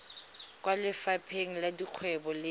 kwa lefapheng la dikgwebo le